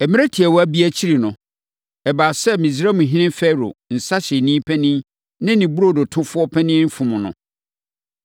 Mmerɛ tiawa bi akyiri no, ɛbaa sɛ Misraimhene Farao nsãhyɛfoɔ panin ne ne burodotofoɔ panin fom no.